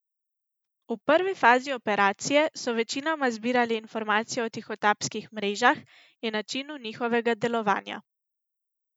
V prvi fazi operacije so večinoma zbirali informacije o tihotapskih mrežah in načinu njihovega delovanja.